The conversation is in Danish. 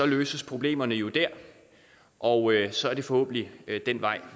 løses problemerne jo der og så er det forhåbentlig den vej